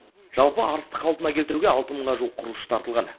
жалпы арысты қалпына келтіруге алты мыңға жуық құрылысшы тартылған